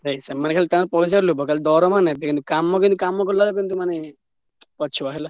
ସେମାନେ ତ ଖାଲି ପଇସା ଲୋଭ ଖାଲିଦରମା ନେବେ କାମ କିନ୍ତୁ କାମ କଲାବେଳେ କିନ୍ତୁ ମାନେ ପଛୁଆ।